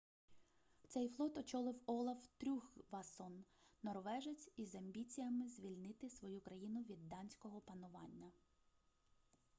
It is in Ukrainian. цей флот очолив олаф трюггвасон норвежець із амбіціями звільнити свою країну від данського панування